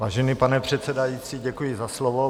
Vážený pane předsedající, děkuji za slovo.